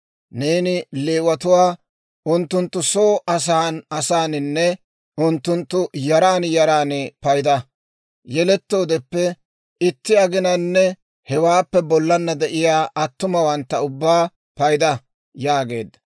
«Neeni Leewatuwaa unttunttu soo asan asaaninne unttunttu yaran yaran payda; yelettoodeppe itti aginanne hewaappe bollana de'iyaa attumawantta ubbaa payda» yaageedda.